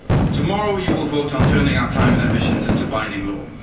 Tomorrow you will vote on turning our climate ambitions into binding law.